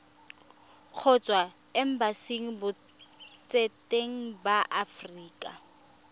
kgotsa embasing botseteng ba aforika